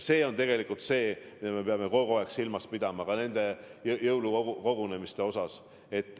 See on see, mida me peame kogu aeg silmas pidama ka nende jõulukogunemiste puhul.